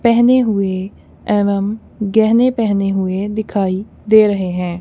पहने हुए एवम गहने पहने हुए दिखाई दे रहे हैं।